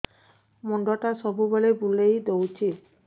ମୁଣ୍ଡଟା ସବୁବେଳେ ବୁଲେଇ ଦଉଛି